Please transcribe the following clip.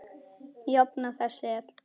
Jafna þess er